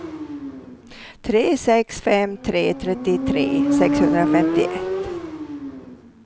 tre sex fem tre trettiotre sexhundrafemtioett